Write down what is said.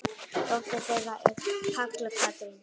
Dóttir þeirra er Halla Katrín.